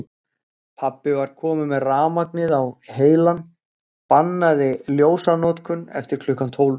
Pabbi var kominn með rafmagnið á heilann, bannaði ljósanotkun eftir klukkan tólf.